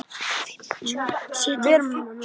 Nú er ég föst hér.